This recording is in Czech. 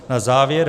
Na závěr.